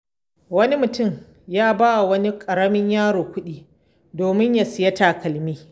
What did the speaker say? Wani mutum ya ba wa wani ƙaramin yaro kuɗi domin ya sayi takalmi.